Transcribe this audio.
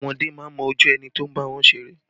Ọmọdé máa ń mójú ẹni tó ń bá wọn ṣeré